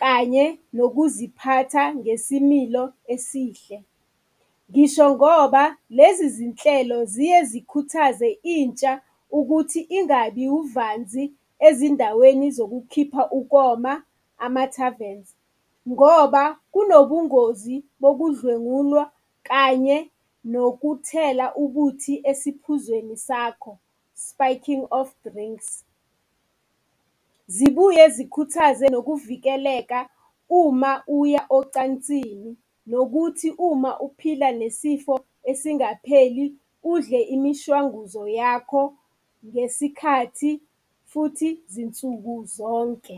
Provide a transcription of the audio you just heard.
kanye nokuziphatha ngesimilo esihle. Ngisho ngoba lezi zinhlelo ziye zikhuthaze intsha ukuthi ingabi uvanzi ezindaweni zokukhipha ukoma, ama-taverns ngoba kunobungozi bokudlengulwa kanye nokuthela ubuthi esiphuzweni sakho, spiking of drinks. Zibuye zikhuthaze nokuvikeleka uma uya ocansini, nokuthi uma ephila nesifo esingapheli udle imishwanguzo yakho ngesikhathi futhi zinsuku zonke.